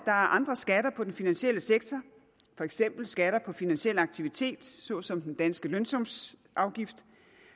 er andre skatter på den finansielle sektor for eksempel skatter på finansiel aktivitet såsom den danske lønsumsafgift